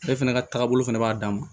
Ale fana ka taagabolo fɛnɛ b'a dan ma